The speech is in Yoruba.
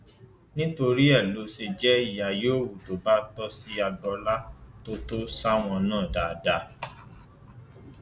nítorí rẹ ló ṣe jẹ ìyà yòówù tó bá tọ sí agboola tó tọ sáwọn náà dáadáa